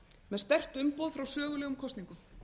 með sterkt umboð frá sögulegum kosningum